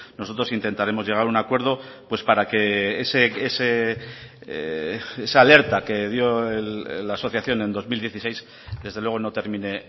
nosotros intentaremos llegar a un acuerdo pues para que esa alerta que dio la asociación en dos mil dieciséis desde luego no termine